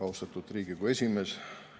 Austatud Riigikogu esimees!